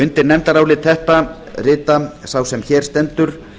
undir nefndarálit þetta rita sá sem hér stendur